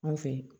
N fe yen